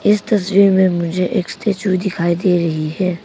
इस तस्वीर में मुझे एक स्टैचू दिखाई दे रही है।